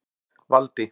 Valdi